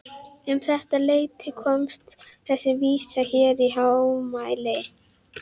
Um þetta leyti komst þessi vísa hér í hámæli